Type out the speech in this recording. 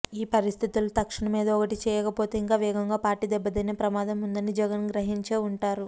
ఈ పరిస్థితిలో తక్షణం ఏదో ఒకటి చేయకపొతే ఇంకా వేగంగా పార్టీ దెబ్బతినే ప్రమాదం ఉందని జగన్ గ్రహించే ఉంటారు